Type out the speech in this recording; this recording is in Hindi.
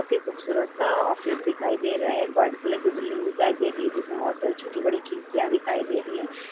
बहुत ही खूबसूरत सा ऑफिस दिखाई दे रहा है। व्हाइट कलर की बिल्डिंग दिखाई दे रही है जिसमें बहुत सारी छोटी-बड़ी खिड़कियाँ दिखाई दे रही हैं।